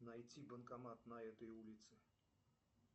найти банкомат на этой улице